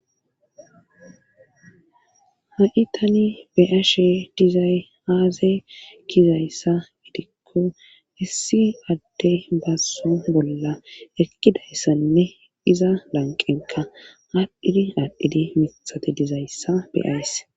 Ha'i tani beyashe dizay aaze gizayssa gidikko issi addey bazo bolla eqqidayssanne iza lanqenka aadhdhidi aadhidi miiththate dizayssa beyayss